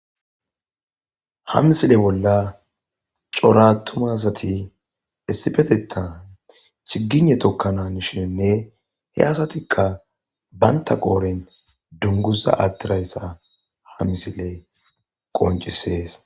ha misile bolla cora atumasati essipetetan chigine tokkanan shiinne he asatikka baynta qooren dunguza attirayssa ha misile qoncisees